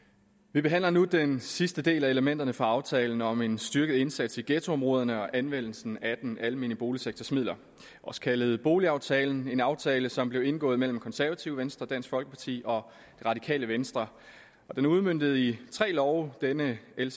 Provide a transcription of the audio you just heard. vi behandler nu den sidste del af elementerne fra aftalen om en styrket indsats i ghettoområderne og anvendelsen af den almene boligsektors midler også kaldet boligaftalen en aftale som blev indgået mellem de konservative venstre dansk folkeparti og det radikale venstre den er udmøntet i tre love og denne l